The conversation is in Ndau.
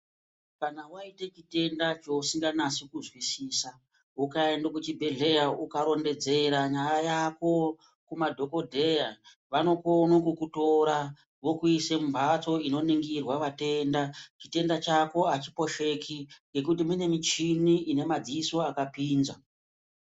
Kana waite chitenda chausinganasi kuzwisisa ukaenda kuchibhedhlera ukanase kurondedzera nyaya yako kumadhokodheya vanokone kukutira vokuise mumhatso inoningire vatenda . Chitenda chako achiposheki ngekuti mune michini yakapinza.